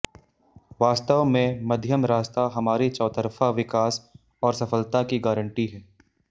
वास्तव मैं मध्यम रास्ता हमारी चौतरफा विकास और सफलता की गारंटी है